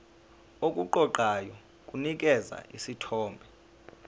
okuqoqayo kunikeza isithombe